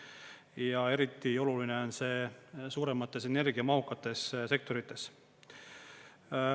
Ja eriti oluline on see suuremates, energiamahukates sektorites.